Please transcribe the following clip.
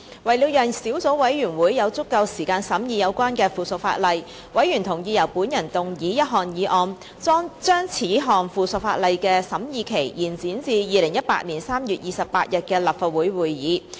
為了讓小組委員會有足夠時間審議有關的附屬法例，委員同意由我動議一項議案，將此項附屬法例的審議期延展至2018年3月28日的立法會會議。